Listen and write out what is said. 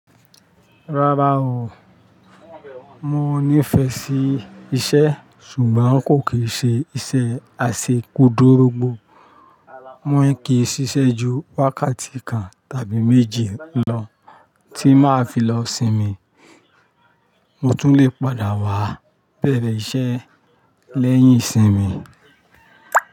Rárá o, mo nífẹẹ sí iṣẹ́ ṣùgbọ́n kò kí n ṣe iṣẹ́ aseku dórógbó. Mo n kìí ṣiṣẹ́ ju wákàtí kan tàbí méji lọ tí máa fi lọ sinmi. Mo tún lè padà wá bẹ̀rẹ̀ iṣẹ́ lẹ́yìn ìsinmi.